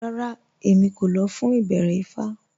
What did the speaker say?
Rárá, Èmí kò lọ̀ fún ìbẹ̀rẹ̀ ifá